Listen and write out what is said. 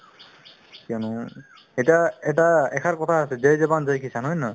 কিয়নো এতিয়া এটা এশাৰ কথা আছে jai jawan jai kisan হয় নে নহয়